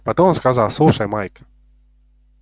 потом он сказал слушай майк